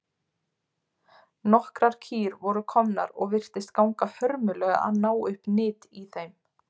Nokkrar kýr voru komnar og virtist ganga hörmulega að ná upp nyt í þeim.